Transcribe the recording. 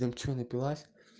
прям что напилась